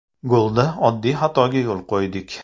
Golda oddiy xatoga yo‘l qo‘ydik.